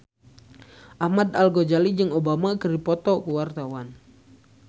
Ahmad Al-Ghazali jeung Obama keur dipoto ku wartawan